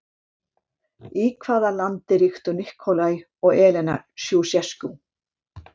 Í hvað landi ríktu Nikolae og Elena Sjúsjeskú?